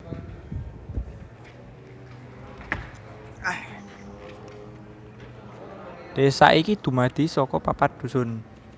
Desa iki dumadi saka papat Dusun